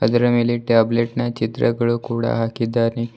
ಅದರ ಮೇಲೆ ಟ್ಯಾಬ್ಲೆಟ್ ನ ಚಿತ್ರಗಳು ಕೂಡ ಹಾಕಿದ್ದಾನೆ.